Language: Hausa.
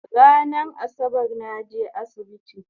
Ranan Asabar naje asibiti